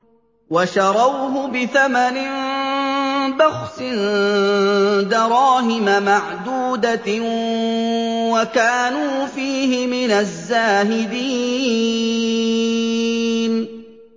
وَشَرَوْهُ بِثَمَنٍ بَخْسٍ دَرَاهِمَ مَعْدُودَةٍ وَكَانُوا فِيهِ مِنَ الزَّاهِدِينَ